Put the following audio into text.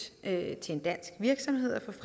til en dansk virksomhed